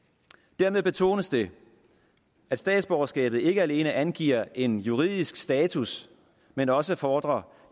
dermed betones det at statsborgerskabet ikke alene angiver en juridisk status men også fordrer